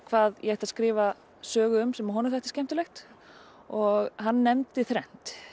hvað ég ætti að skrifa sögu um sem honum þætti skemmtilegt og hann nefndi þrennt